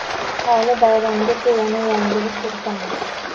hali bayramgacha yana yangilik kiritamiz.